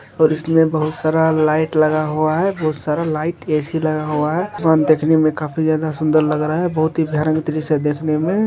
और उसमे बहुत सारा लाइट लगा हुआ है बहुत सारा लाइट ऐ.सी. लगा हुआ है और देखने में काफी ज्यादा सुन्दर लग रहा है बहुत ही बेहतरीन से देखने में --